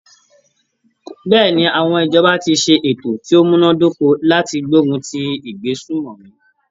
Bẹ́ẹ̀ni, àwọn ìjọba ti ṣe ètò ti o múná dóko láti gbógun ti ìgbésùmòmí.